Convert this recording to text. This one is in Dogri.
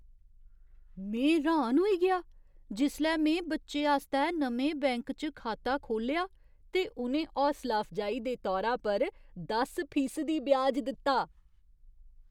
में र्‌हान होई गेआ जिसलै में बच्चे आस्तै नमें बैंक च खाता खोह्ल्लेआ ते उ'नें हौसला अफजाई दे तौरा पर दस फीसदी ब्याज दित्ता।